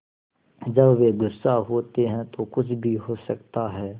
जब वे गुस्सा होते हैं तो कुछ भी हो सकता है